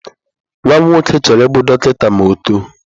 Nwa m nwoke chọrọ ịbụ dọkịta ma ọ otoo.